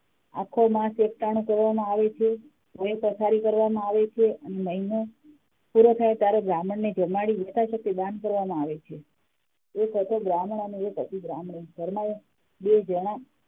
આખો માસ એક ટાણું કરવામાં આવે છે ભોય પથારી કરવામાં આવે છે અને મહિનો પુરો થાય ત્યારે બ્રાહ્મણ ને જમાડી યથાશકતી દાન કરવામાં આવે છે એક હતો બ્રાહ્મણ અને એક હતી બ્રાહ્મણી ઘર માં એમ બે જણા